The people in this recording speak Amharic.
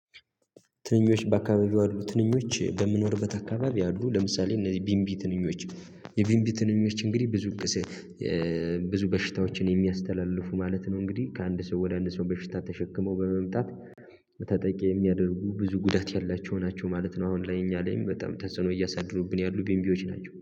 ትንኞች በአካባቢው ያሉ ትንኞች በምኖርበት አካባቢ አሉ ለምሳሌ እነዚህ ቢንቢ ትንኞች የቢንቢ ትንኞች እንግዲህ ብዙ በሽታዎችን የሚያስተላልፉ ማለት ነው። እንግዲህ ከአንድ ሰው ወደ አንድ ሰው በሽታ ተሸክመው በመምጣት ተጠቂ የሚያደርጉ ብዙ ጉዳት ያላቸው ናቸው ማለት ነው። አሁን ላይ እኛ ላይ በጣም ተጽዕኖ እያሳደሩብን ያሉ ቢንቢዎች ናቸው